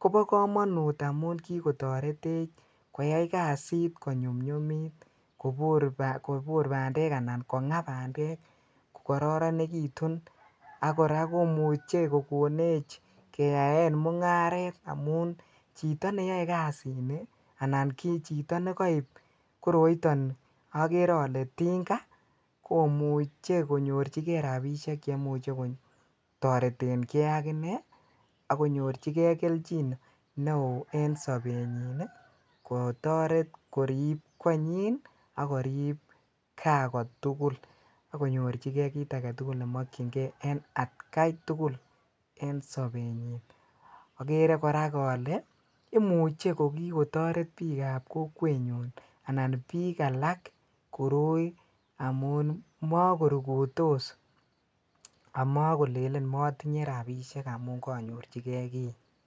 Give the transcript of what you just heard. kobokomonut amun kikotoretech koyai kasit konyumnyumit kobor ba.dek anan konga bandek ko kororonekitun ak kora komuche kokonech keyaen mung'aret amun chito neyoe kasini anan chito nekoib koroiton okere olee tinga komuche konyorchike rabishek cheimuche kotoreteng'e ak inee ak konyorchikee kelchin neoo en sobenyin kotoret koriib konyin ak korib Kaa kotukul ak konyorchike kiit aketukul nemokying'e en atkai tukul en sobenyin, okere kora olee imuche ko kikotoret biikab kokwenyun anan biik alak koroi amun mokorukutos amakolelen motinye rabishek amun konyorchikee kii.